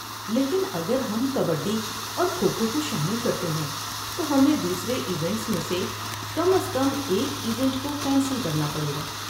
لیکن اگر ہم کبڈی اور کھو کھو کو شامل کرتے ہیں تو ہمیں دوسرے ایونٹس میں سے کم از کم ایک ایونٹ کو کینسل کرنا پڑے گا۔